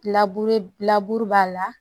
b'a la